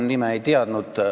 Ma nime ei teadnud.